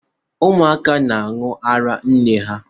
Ụmụaka na-anwụ araa nne ha.